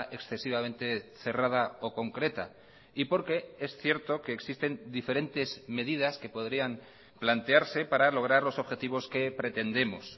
excesivamente cerrada o concreta y porque es cierto que existen diferentes medidas que podrían plantearse para lograr los objetivos que pretendemos